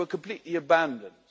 we were completely abandoned'.